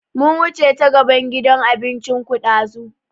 Mun wuce ta gaban gidan abincin ku ɗazu